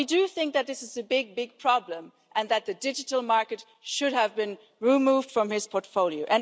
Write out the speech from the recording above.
But we do think that this is a big, big problem and that the digital market should have been removed from his portfolio.